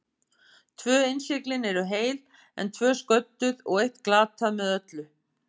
Tvö innsiglin eru heil, en tvö sködduð og eitt glatað með öllu.